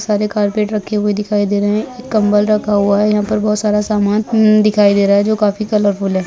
बहुत सारे कारपेट दिखाई दे रहे हैं कंबल रखा हुआ है यहाँ पर बहुत सारा समान म्म दिखाई दे रहा है जो काफी कलरफुल हैं।